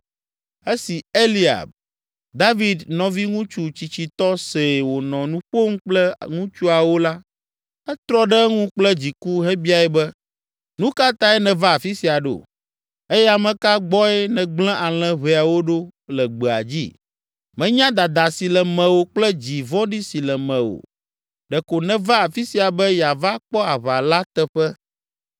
Esi Eliab, David nɔviŋutsu tsitsitɔ see wònɔ nu ƒom kple ŋutsuawo la, etrɔ ɖe eŋu kple dziku hebiae be, “Nu ka tae nèva afi sia ɖo? Eye ame ka gbɔe nègblẽ alẽ ʋɛawo ɖo le gbea dzi? Menya dada si le mewò kple dzi vɔ̃ɖi si le mewò. Ɖe ko nèva afi sia be yeava kpɔ aʋa la teƒe.”